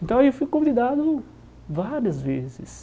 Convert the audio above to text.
Então eu fui convidado várias vezes.